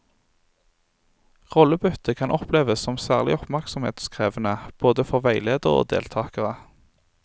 Rollebytte kan oppleves som særlig oppmerksomhetskrevende både for veileder og deltakerne.